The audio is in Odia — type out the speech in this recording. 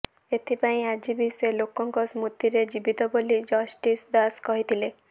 ଏଥିପାଇଁ ଆଜି ବି ସେ ଲୋକଙ୍କ ସ୍ମୃତିରେ ଜୀବିତ ବୋଲି ଜଷ୍ଟିସ୍ ଦାସ କହିଥିଲେ